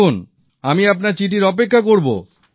দেখুন আমি আপনার চিঠির অপেক্ষা করবো